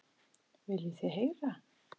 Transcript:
Viljið þið heyra?